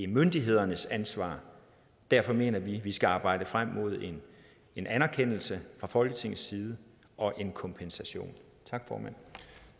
myndighedernes ansvar derfor mener vi at vi skal arbejde frem mod en anerkendelse fra folketingets side og en kompensation